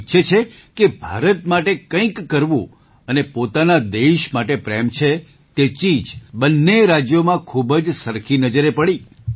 તેઓ ઈચ્છે છે કે ભારત માટે કંઈક કરવું અને પોતાના દેશ માટે પ્રેમ છે તે ચીજ બંને રાજ્યોમાં ખૂબ જ સરખી નજરે પડી